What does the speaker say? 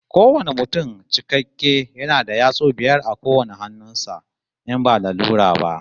Kowane mutum cikakke yana da yatsu biyar a kowane hannun sa, in ba lalura ba